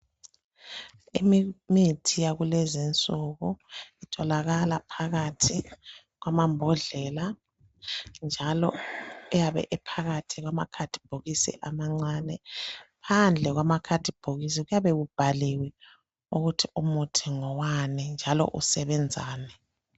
Imithi yakulezinsuku itholakala phakathi kwamambodlela, njalo ayabe ephakathi kwamakhadibhokisi amancane. Phandle kwamakhadibhokisi kuyabe kubhaliwe ukuthi umuntu ngowani njalo usebenzani.